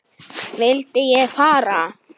Vildi ég fara?